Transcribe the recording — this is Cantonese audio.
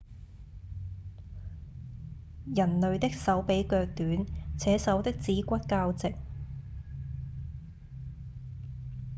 人類的手比腳短且手的指骨較直